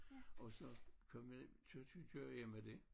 Og så kom jeg ind kører jeg med det